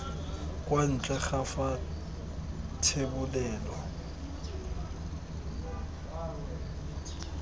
kwa ntle ga fa thebolelo